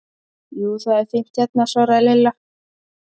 Jú, það er fínt hérna svaraði Lilla.